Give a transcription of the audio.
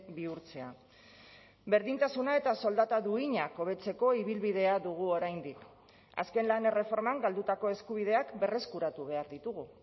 bihurtzea berdintasuna eta soldata duinak hobetzeko ibilbidea dugu oraindik azken lan erreforman galdutako eskubideak berreskuratu behar ditugu